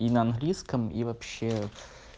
и на английском и вообще